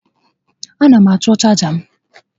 A na m achọ chaja m